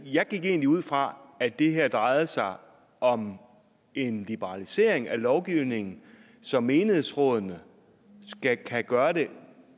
jeg gik egentlig ud fra at det her drejede sig om en liberalisering af lovgivningen så menighedsrådene kan gøre tingene